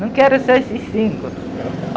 Não quero só esses cinco.